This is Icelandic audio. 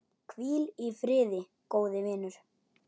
Hvíl í friði, góði vinur.